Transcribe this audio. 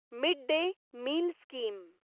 mid day meal scheme